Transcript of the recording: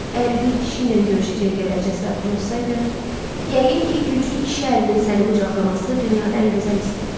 Əgər bir kişi ilə görüşəcək qədər cəsarətim olsaydı, yəqin ki, güclü kişi əlinin səni qucaqlaması dünyada ən gözəl isdi.